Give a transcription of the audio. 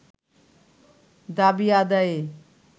দাবি আদায়ে